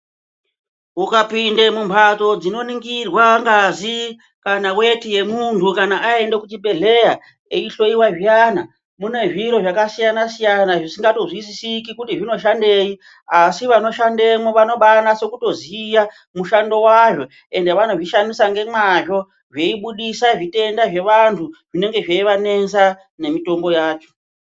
Ukapinda mumhatso dzinoningirwa ngazi kana weti yemunhu kana aende kuchibhedhlera eihloyiwa zviyana mune zviro zvakasiyana siyana zvisingatozwisisiki kuti zvinoshandei asi vanoshandemo vanobanase kutoziya mushando wazvo ende vanozvishandisa ngemwazvo zveibudisa zvitenda zvevantu zvinenge zveivanesa nemitombo yacho.